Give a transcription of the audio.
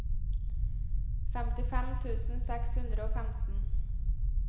femtifem tusen seks hundre og femten